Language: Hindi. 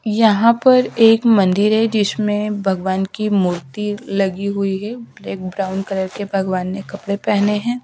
यहां पर एक मंदिर है जिसमे भगवान की मूर्ति लगी हुई है एक ब्राउन कलर के भगवान ने कपड़े पहने है।